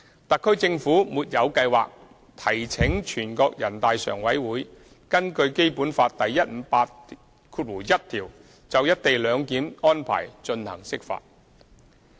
特區政府沒有計劃提請全國人大常委會根據《基本法》第一百五十八條第一款就"一地兩檢"安排進行釋法。